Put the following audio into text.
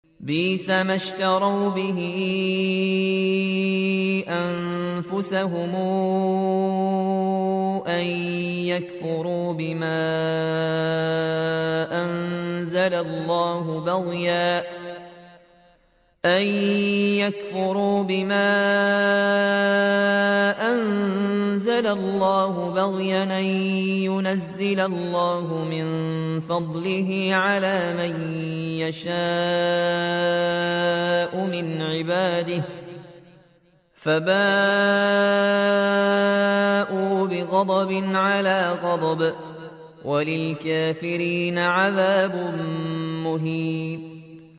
بِئْسَمَا اشْتَرَوْا بِهِ أَنفُسَهُمْ أَن يَكْفُرُوا بِمَا أَنزَلَ اللَّهُ بَغْيًا أَن يُنَزِّلَ اللَّهُ مِن فَضْلِهِ عَلَىٰ مَن يَشَاءُ مِنْ عِبَادِهِ ۖ فَبَاءُوا بِغَضَبٍ عَلَىٰ غَضَبٍ ۚ وَلِلْكَافِرِينَ عَذَابٌ مُّهِينٌ